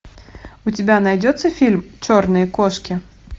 у тебя найдется фильм черные кошки